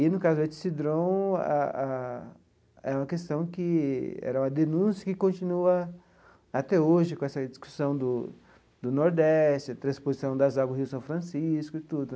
E, no caso do Etsedron a a, é uma questão que era uma denúncia que continua até hoje com essa discussão do do Nordeste, a transposição das águas do Rio São Francisco e tudo.